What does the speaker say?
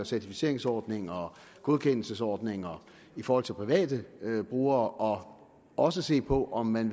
certificeringsordninger og godkendelsesordninger i forhold til private brugere og også se på om man